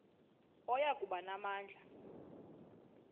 oya kuba namandla